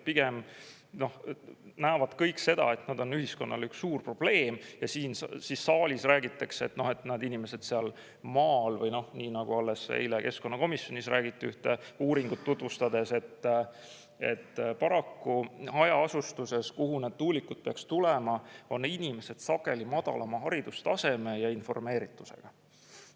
Pigem näevad kõik seda, et nad on ühiskonnale üks suur probleem, ja siin saalis räägitakse, et inimesed seal maal või nii, nagu alles eile keskkonnakomisjonis räägiti ühte uuringut tutvustades, et paraku hajaasustuses, kuhu need tuulikud peaks tulema, on inimesed sageli madalama haridustaseme ja informeeritusega.